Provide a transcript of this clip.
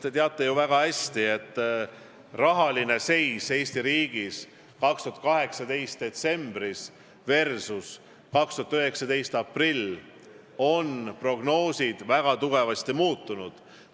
Te teate ju väga hästi, et rahaline seis Eesti riigis 2018 detsembris versus 2019 aprill on väga tugevasti muutunud.